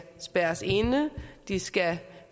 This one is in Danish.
spærres inde de skal